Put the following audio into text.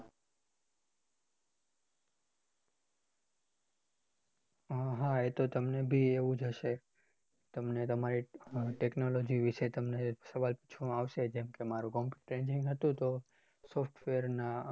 હા હા તમને બી આવું જ હશે તમને તમારી technology વિશે તમને સવાલ પૂછવામાં આવશે જેમ કે computer engineering હતું software ના